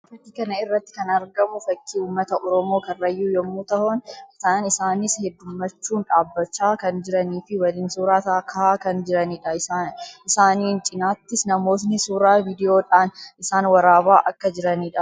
Fakkii kana irratti kan argamu fakkii uummata Oromoo Kaarrayyuu yammuu tahan; isaanis heddummachuun dhaabbachaa kan jiranii fi waliin suuraa kahaa kan jiranii dha. Isaaniin cinattis namoonni suuraa viidiyoodhaan isaan waraabaa akka jiranii dha.